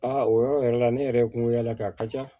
Aa o yɔrɔ yɛrɛ la ne yɛrɛ ye n kungo y'a la ka a ka ca